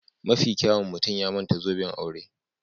Mafi kyawun mutum ya manta zoben aure